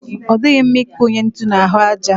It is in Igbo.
Ọ dịghị mma ikunye ntu n'ahụ aja.